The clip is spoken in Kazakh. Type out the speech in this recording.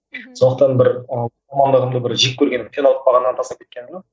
мхм сондықтан бір ы мамандығымды бір жек көрген қиналып қалғаннан тастап кеткенім жоқ